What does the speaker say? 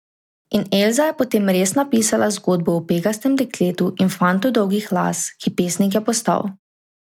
In Elza je potem res napisala zgodbo o Pegastem dekletu in fantu dolgih las, ki pesnik je postal ...